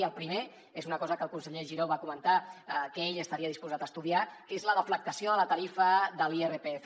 i el primer és una cosa que el conseller giró va comentar que ell estaria disposat a estudiar que és la deflactació de la tarifa de l’irpf